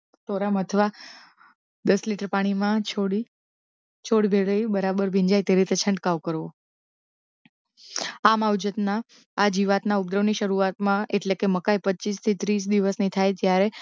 થોડાં મથવા દસ લિટર પાણીમાં છોડી છોડ વેરૈયું બરાબર ભીંજાય તે રીતે છંટકાવ કરવો આ માવજત ના આ જીવાત ના ઉપદ્રવ ની શરૂઆતમાં એટલે કે મકાઇ પચ્ચીસ થી ત્રીસ દિવસની થાય ત્યારે